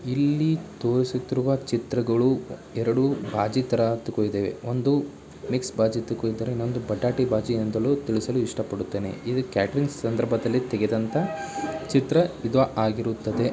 ಇಲ್ಲಿ ತೋರಿಸುತ್ತಿರುವ ಚಿತ್ರಗಳು ಎರಡು ಭಾಜಿ ತರ ಅಂತು ಇದವೆ. ಒಂದು ಮಿಕ್ಸ್ ಭಾಜಿ ಅಂತ ಕರೀತಾರೆ ಇನ್ನೊಂದು ಪೊಟಾಟೋ ಅಂತಲೂ ತಿಳಿಸಲು ಇಷ್ಟಪಡ್ತೆನೆ. ಇದು ಕ್ಯಾಟರಿಂಗ್ ಸಂದರ್ಭದಲ್ಲಿ ತೆಗೆದಂತ ಚಿತ್ರ ಇದು ಆಗಿರುತ್ತದೆ.